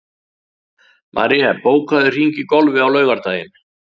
Marie, bókaðu hring í golf á laugardaginn.